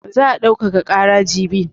Za a daukaka ƙara jibi.